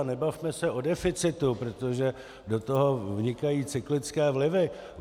A nebavme se o deficitu, protože do toho vnikají cyklické vlivy.